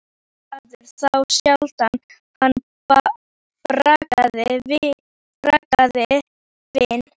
Hann söng og var glaður, þá sjaldan hann bragðaði vín.